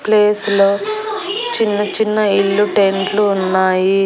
Place లో చిన్న-చిన్న ఇల్లు టెంట్ లు ఉన్నాయి.